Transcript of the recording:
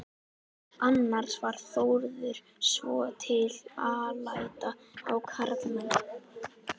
Annars var Þórður svotil alæta á karlmenn.